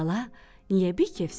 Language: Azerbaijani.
“Bala, niyə bikefsən?”